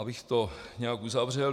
Abych to nějak uzavřel.